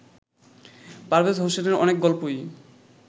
পারভেজ হোসেনের অনেক গল্পই